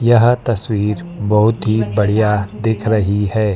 यह तस्वीर बहुत ही बढ़िया दिख रही है।